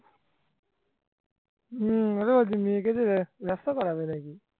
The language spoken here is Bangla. হম ওরা ওদের মেয়েকে দিয়ে ব্যাবসা করাবে নাকি